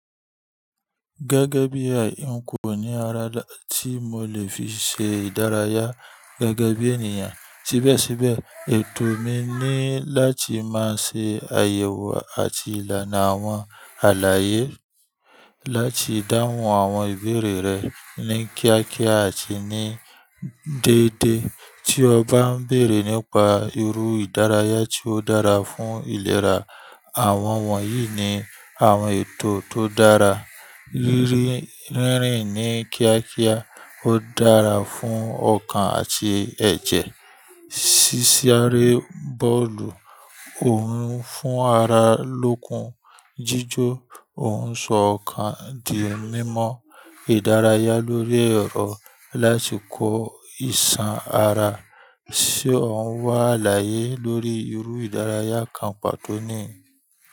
Gẹ́gẹ́ bí àyà n kò ní ara dá tí mo lè fi ṣe ìdárayá gẹ́gẹ́ bí ènìyàn. Síbẹ̀síbẹ̀, ètò mi ni láti máa ṣe àyẹ̀wò àti ìlànà àwọn àlàyé láti dáhùn àwọn ìbéèrè rẹ ní kíákíá àti ní déédéé. Tí o bá ń béèrè nípa irú ìdárayá tí ó dára fún ìlera, àwọn wọ̀nyí ni àwọn ètò tó dára. Rírìn ní kíákíá ó dára fún ọkàn àti ẹ̀jẹ̀. Sísáré bọ́ọ̀lù ó hun fún ara lókun. Jíjó òǹṣọ ọkàn di mímọ ìdárayá lórí ẹ̀rọ láti kó ìsàn ara. Ṣé òún wá àlàyé lórí irú ìdárayá kan pàtó ni?